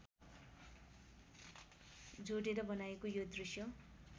जोडेर बनाइएको यो दृश्य